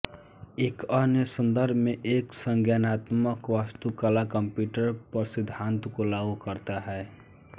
एक अन्य संदर्भ में एक संज्ञानात्मक वास्तुकला कंप्यूटर पर सिद्धांत को लागू करता है